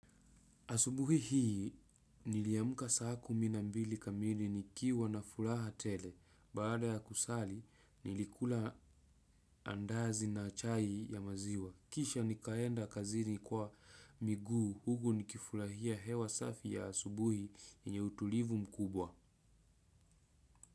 Asubuhi hii, niliamka saa kumina mbili kamili nikiwa na furaha tele. Baada ya kusali, nilikula andazi na chai ya maziwa. Kisha nikaenda kazini kwa miguu, huku nikifurahia hewa safi ya asubuhi yenye utulivu mkubwa.